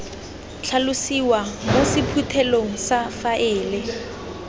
tlhalosiwa mo sephuthelong sa faele